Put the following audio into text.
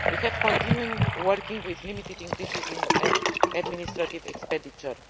We have continued working with limited increases in administrative expenditure.